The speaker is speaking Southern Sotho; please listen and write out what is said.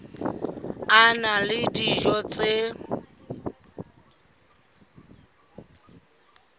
a na le dijo tse